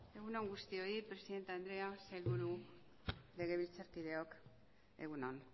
egun on guztioi presidente andrea sailburu legebiltzarkideok egun on